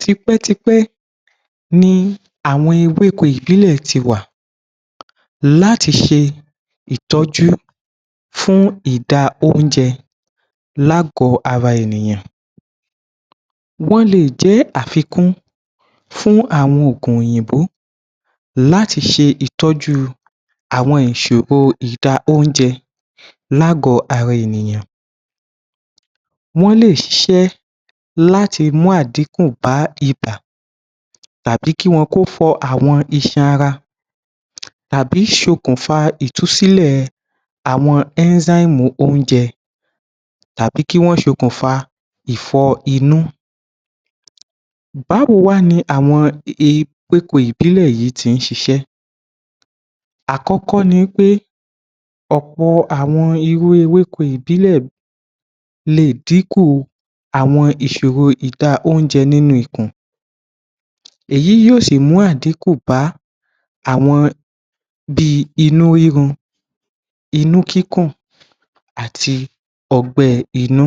Tipẹ́tipẹ́ ni àwọn ewéko ìbílẹ̀ ti wà láti ṣe ìtọ́jú, fún ìdá oúnjẹ lágọ̀ọ́ ara ènìyàn, wọ́n le è jẹ́ àfikún fún àwọn oògùn òyìnbó láti ṣe ìtọ́jú àwọn ìṣòro ìdá oúnjẹ ní àgọ́ ara ènìyàn, wọ́n lè ṣiṣẹ́ láti mú àdínkù bá ibà tàbí ki wọn kó na àwọn iṣan ara, àbí ṣokùnfà ìtúsílẹ̀ àwọn ẹ́ńzáìmù enzyme oúnjẹ tàbí kí wọ́n ṣe okùnfà ìfọ inú. Báwo wá ni àwọn ewéko ìbílẹ̀ yuìí ṣe ń ṣiṣẹ́? Àkọ́kọ́ ni wí pé ọ̀pọ̀ àwọn irú ewéko ìbílẹ̀ le è dínkù àwọn ìṣòro ìdá oúnjẹ nínú ikùn, èyí yóò sì mú àdínkù bá àwọn bí i inú rírun, inú kíkùn àti ọgbẹ́ inú.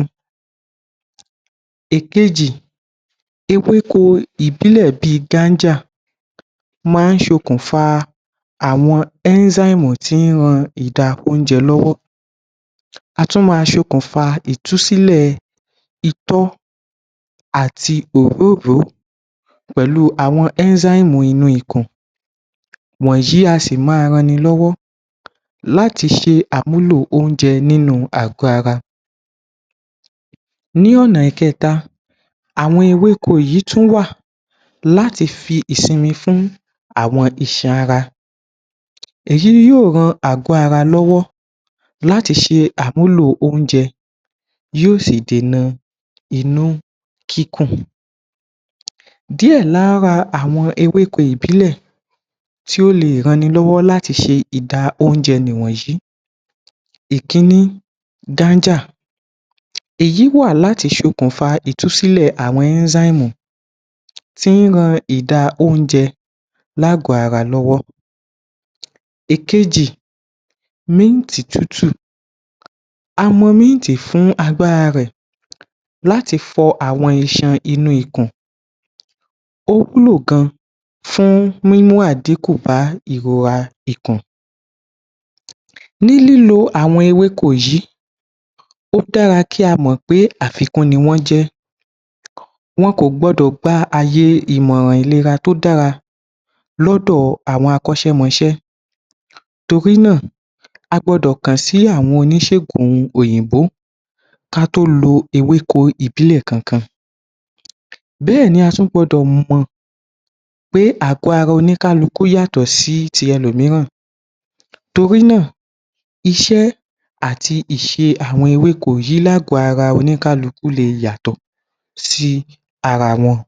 Èkejì, ewéko ìbílẹ̀ bí i Ganja máa ń ṣokùnfà àwọn ẹ́ńzáìmù enzyme tí ń ran ìdá oúnjẹ lọ́wọ́. A tún máa ṣokùnfà ìtúsílẹ̀ itọ́ àti òróóǹro pẹ̀lú àwọn ẹ́ńzáìmù enzymes inú ikùn wọ̀nyí a sì máa ran ni lọ́wọ́ láti ṣe àmúlò oúnjẹ nínú àgọ́ ara. Ní ọ̀nà ìkẹ́ta àwọn ewéko yìí tún wà láti fi ìsinmi fún àwọn iṣan ara èyí ni yóò ran àwọn àgọ́ ara lọ́wọ́ láti ṣe àmúlò oúnje yóò sì dènà inú kíkùn. Díẹ̀ lára àwọn ewéko ìbílẹ̀ tí ó le è ran ni lọ́wọ́ láti ṣe ìdá oúnjẹ nìwọ̀nyí; Ìkíní Ganja èyí wà láti ṣokùnfà ìtúsílẹ̀ àwọn ẹnzyme ẹ́ńzáìmù tí ń ran ìdá oúnjẹ ní àgọ́ ara lọ́wọ́. Èkejì, mint tútù a mọ̀ míǹtì fún agbára rè láti fọ àwọn iṣan inú ikùn, ó wúlò gan fún mímú àdíkùn bá ìrora ikùn. Ní lílo àwọn ewéko yìí ó dára kí a mọ̀ pé àfikún ni wọ́n jẹ́, wọn kò gbọ́dọ̀ gba aye ìmọ̀ràn tó dára lọ́dọ̀ àwọn akọ́ṣẹ́mọṣẹ́ torí náà, a gbọ́dọ̀ kàn sí àwọn oníṣègùn òyìnbó ká tó lo ewéko ìbílẹ̀ kankan. Bẹ́ẹ̀ ni a tún gbọ́dọ̀ mọ̀ pé àgọ́ ara oníkálukú yàtọ̀ sí ti ẹlòmíràn torí náà iṣẹ́ àti ìṣe àwọn ewéko yìí lágọ̀ọ́ ara oníkálukú le è yàtọ̀ sí ara wọn.